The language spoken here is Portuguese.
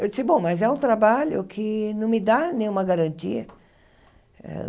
Eu disse, bom, mas é um trabalho que não me dá nenhuma garantia.